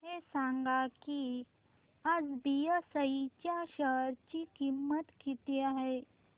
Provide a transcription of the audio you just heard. हे सांगा की आज बीएसई च्या शेअर ची किंमत किती आहे